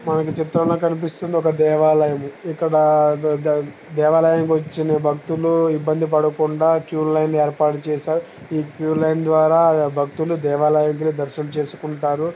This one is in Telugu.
మనకు చిత్రంలో కనిపిస్తున్నది ఒక దేవాలయము .ఇక్కడ దే-దే- దేవాలయానికి వచ్చిన భక్తులు ఇబ్బంది పడకుండా క్యూ లైన్ ఏర్పాటుచేసారు. ఈ క్యూ లైన్ ద్వారా భక్తులు దేవాలయానికి వెళ్లి దర్శనం చేస్కుంటారు.